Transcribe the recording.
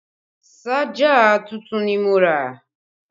Ṣájà tuntun ni mo rà